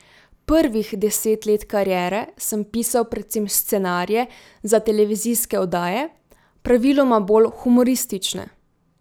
Prvih deset let kariere sem pisal predvsem scenarije za televizijske oddaje, praviloma bolj humoristične.